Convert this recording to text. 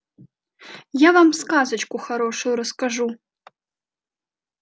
я вам сказочку хорошую расскажу